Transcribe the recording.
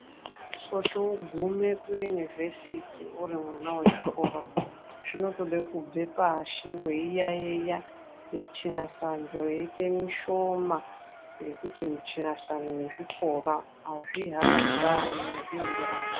Kuti ugume kuyunivhesiti uri mwana wechikora, zvinotode kubve pashi weiyaiya, muthinyasandho yeiita mishomani ngekuti muthinyasandho nechikora azvihambidzani, azvienderani.